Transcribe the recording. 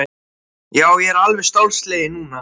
Já, ég er alveg stálsleginn núna!